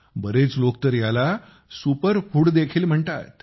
बरेच लोक तर याला सुपर फूड देखील म्हणतात